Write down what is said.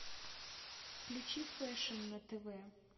включи фэшн на тв